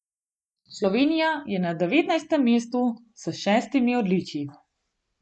Slovenija je na devetnajstem mestu s šestimi odličji.